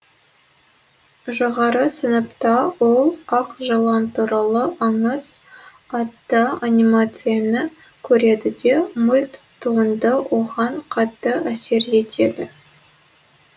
жоғары сыныпта ол ақ жылан туралы аңыз атты анимацияны көреді де мульт туынды оған қатты әсер етеді